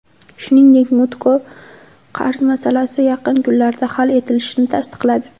Shuningdek, Mutko qarz masalasi yaqin kunlarda hal etilishini tasdiqladi.